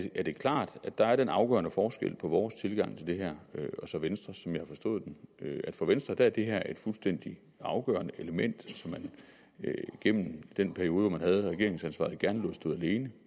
er det klart at der er den afgørende forskel på vores tilgang til det her og så venstres som jeg har forstået den at for venstre er det her et fuldstændig afgørende element som man gennem den periode hvor man havde regeringsansvaret gerne lod stå alene